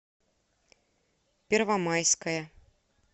первомайская